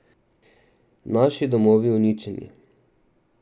Naši domovi uničeni.